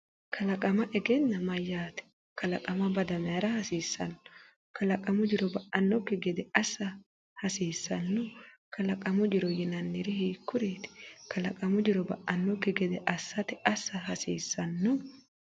Kalaqama egenna mayyaate? Kalaqama bade mayra hasiissanno? Kalaqamu jiro ba’annokki gede assa hasiissanno? Kalaqamu jiro yinanniri hiikkuriiti? Kalaqamu jiro ba’annokki gede assate assa hasiissanno?